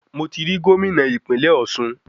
Mo ti ri Gómìnà ìpínlẹ̀ Ọ̀sun